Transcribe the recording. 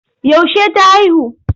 Yaushe ta haihu?